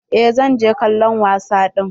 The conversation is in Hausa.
Eh zan je kallon wasa ɗin.